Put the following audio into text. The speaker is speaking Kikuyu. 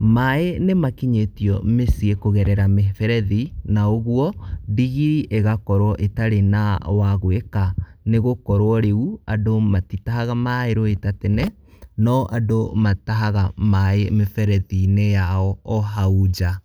maĩ nĩmakinyĩtio mĩciĩ kũgerera mĩberethi ,na ũguo ndigiri ĩgakorwo ĩtarĩ na wa gwĩka, nĩgũkorwo rĩu andũ matitahaga maĩ rũĩ ta tene, no andũ matahaga maĩ mĩberethi-inĩ yao o hau nja.